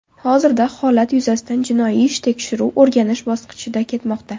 Hozirda holat yuzasidan jinoiy ish tekshiruv-o‘rganish bosqichida ketmoqda.